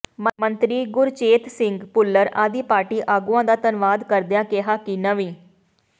ਮੰਤਰੀ ਗੁਰਚੇਤ ਸਿੰਘ ਭੁੱਲਰ ਆਦਿ ਪਾਰਟੀ ਆਗੂਆਂ ਦਾ ਧੰਨਵਾਦ ਕਰਦਿਆਂ ਕਿਹਾ ਕਿ ਨਵੀਂ